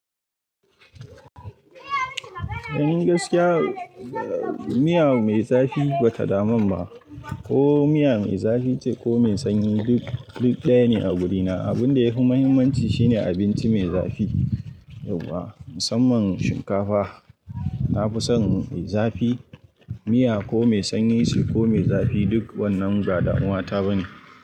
In gaskiya, miya mai zafi ba ta damun ba, ko miya mai zafi ce ko mai sanyi duk, duk ɗaya ne a guduna. Abun da yafi muhimmanci shine abinci mai zafi, yauwa, musamman shinkafa. Na fi son mai zafi, miya ko mai sanyi ce ko mai zafi duk wannan ba damuwa ta ba ne.